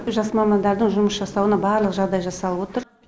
жас мамандардың жұмыс жасауына барлық жағдай жасалып отыр